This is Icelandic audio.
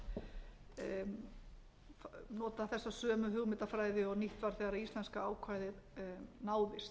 að nota þessa sömu hugmyndafræði og nýtt var þegar íslenska ákvæðið náðist við